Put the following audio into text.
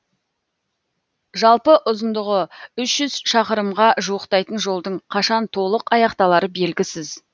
жалпы ұзындығы үш жүз шақырымға жуықтайтын жолдың қашан толық аяқталары белгісіз